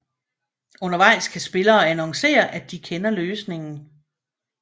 Undervejs kan spillere annoncere at de kender løsningen